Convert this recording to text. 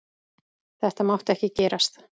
Þetta mátti ekki gerast!